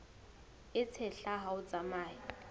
e tshehla ha o tsamaya